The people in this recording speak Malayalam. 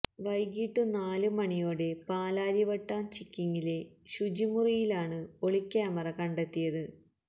വൈകിട്ട് നാലു മണിയോടെ പാലാരിവട്ടം ചിക്കിങ്ങിലെ ശുചിമുറിയിലാണ് ഒളി ക്യാമറ കണ്ടെത്തിയത്